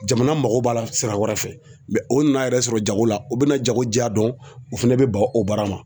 Jamana mago b'a la sira wɛrɛ fɛ o nan'a yɛrɛ sɔrɔ jago la u bɛna jago ja dɔn o fɛnɛ bɛ ban o baara ma.